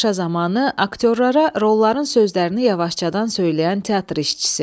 Tamaşa zamanı aktyorlara rolların sözlərini yavaşcadan söyləyən teatr işçisi.